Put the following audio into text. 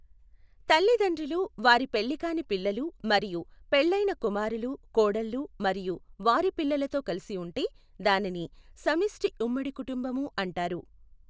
తల్లిదండ్రులు వారి పెళ్ళికాని పిల్లలు మరియు పెళ్ళైన కుమారులు కోడళ్ళు మరియు వారి పిల్లలతో కలసి ఉంటే దానిని సమిష్టి ఉమ్మడి కుటుంబము అంటారు.